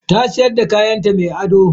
Ta siyar da kayanta mai ado.